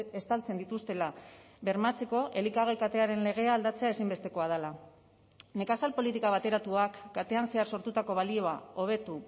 estaltzen dituztela bermatzeko elikagai katearen legea aldatzea ezinbestekoa dela nekazal politika bateratuak katean zehar sortutako balioa hobetu